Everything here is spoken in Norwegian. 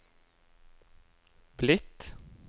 blitt